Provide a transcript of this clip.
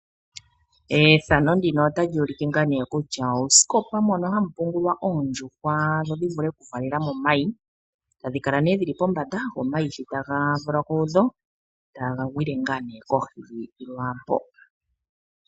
Efano ndino otali ulike ngaa nee kutya uusikopa mono hamu pungulwa oondjuhwa dho dhivule oku valela mo omayi. Tadhi kala nee dhili pombanda go omayi shi taga valwa kudho taga gwile ngaa nee kohi lwaampo.